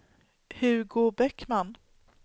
Hugo Bäckman